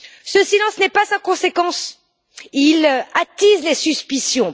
Ce silence n'est pas sans conséquence, car il attise les suspicions.